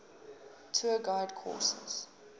tour guide course